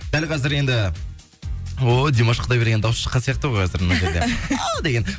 дәл қазір енді ой димаш құдайбергеннің дауысы шыққан сияқты ғой қазір мына жерде а деген